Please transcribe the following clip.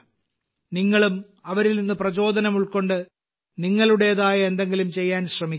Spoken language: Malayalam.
നിങ്ങളും അവരിൽ നിന്ന് പ്രചോദനം ഉൾക്കൊണ്ട് നിങ്ങളുടേതായ എന്തെങ്കിലും ചെയ്യാൻ ശ്രമിക്കുക